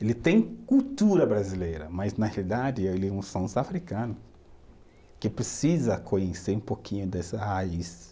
Ele tem cultura brasileira, mas na realidade ele é um africano que precisa conhecer um pouquinho dessa raiz.